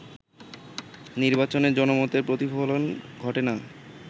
নির্বাচনে জনমতের প্রতিফলন ঘটে না